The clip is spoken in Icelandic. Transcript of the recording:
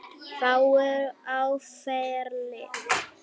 Fáir á ferli.